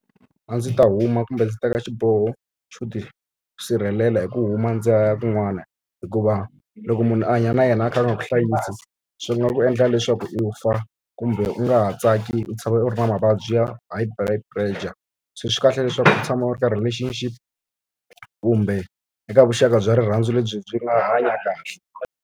A ndzi ta huma kumbe ndzi teka xiboho xo ti sirhelela hi ku huma ndzi ya kun'wana. Hikuva loko munhu a hanya na yena a kha a nga ku hlayisi, swi nga ku endla leswaku u fa kumbe u nga ha tsaki u tshama u ri na mavabyi ya high blood pressure. So swi kahle leswaku u tshama u ri ka relationship kumbe eka vuxaka bya rirhandzu lebyi byi nga hanyaka kahle.